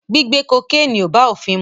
Gbigbe kokéènì ò bá ofin mu.